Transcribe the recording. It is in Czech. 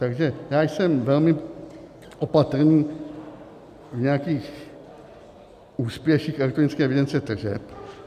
Takže já jsem velmi opatrný v nějakých úspěších elektronické evidence tržeb.